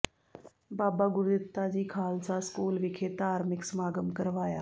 ਬਾਬਾ Gurditta ji Khalsa school ਵਿਖੇ ਧਾਰਮਿਕ ਸਮਾਗਮ ਕਰਵਾਇਆ